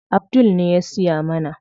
Abdul ne ya siya mana.